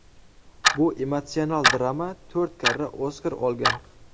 Bu emotsional drama to‘rt karra Oskar olgan.